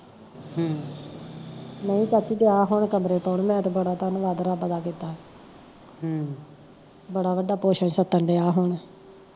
ਨਹੀਂ ਚਾਚੀ ਗਿਆ ਹੁਣ ਕਮਰੇ ਪਾਉਣ ਮੈਂ ਤਾਂ ਬੜਾ ਧਨਵਾਦ ਰੱਬ ਦਾ ਕੀਤਾ ਹਮ ਬੜਾ ਵੱਡਾ ਛੱਤਣ ਡਿਆ ਹੁਣ